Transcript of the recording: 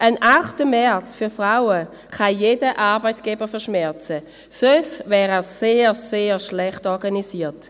Ein 8. März für Frauen kann jeder Arbeitgeber verschmerzen, sonst wäre er sehr, sehr schlecht organisiert.